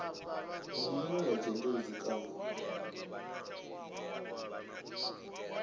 na munwe wa dzhendedzi kana